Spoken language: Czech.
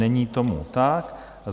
Není tomu tak.